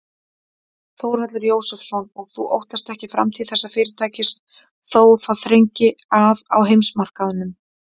Þórhallur Jósefsson: Og þú óttast ekki framtíð þessa fyrirtækis þó það þrengi að á heimsmarkaðnum?